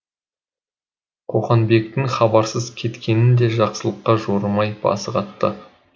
қоқанбектің хабарсыз кеткенін де жақсылыққа жорымай басы қатты